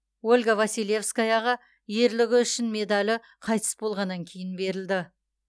ольга василевскаяға ерлігі үшін медалі қайтыс болғаннан кейін берілді